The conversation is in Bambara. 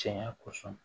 Cɛɲa kosɔn